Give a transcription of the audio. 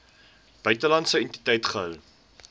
buitelandse entiteit gehou